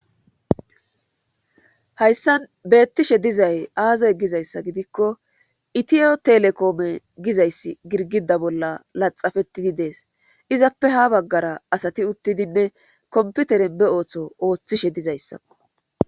Hayssan beettishe dizay aazay gizayssa gidikko itiyo telekoome gizayssi girgida bolla laxafettidi dees izappe ha baggara asati uttidinne komputeren be ooththo ooththishe dizayssakko